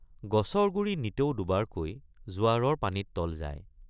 গছৰ গুৰি নিতৌ দুবাৰকৈ জোৱাৰৰ পানীত তল যায়।